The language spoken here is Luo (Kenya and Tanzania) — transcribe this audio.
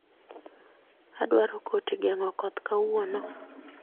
Adwaro koti gengo koth kawuono